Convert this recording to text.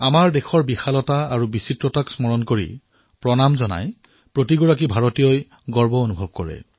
আমাৰ দেশৰ বিশালতা আৰু বৈচিত্ৰতাক স্মৰণ কৰি ইয়াক সেৱা জনাই প্ৰতিজন ভাৰতীয়ই গৰ্ববোধ কৰে